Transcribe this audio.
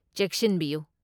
ꯆꯦꯛꯁꯤꯟꯕꯤꯌꯨ꯫